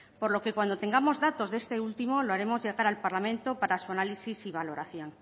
por lo que cuando tengamos datos de este último lo haremos llegar al parlamento para su análisis y valoración